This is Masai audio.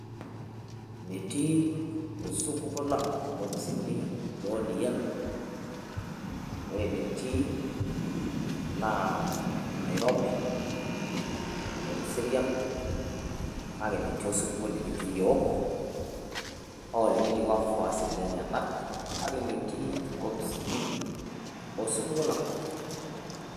Metii osupuko lang' nkoipisini e ODM, ore enetii naa Nairobi, noo Kiserian kake metii osupuko likitii yiok hoo tenetii wafuasi lenyenak, kake metii nkopisini osupuko lang'.